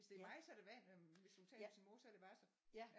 Hvis det er mig så er det vand hvis hun taler med sin mor så er det wasser